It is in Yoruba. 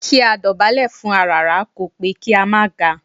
Kí a dọ̀bálẹ̀ fún aràrá kò pé kí a má ga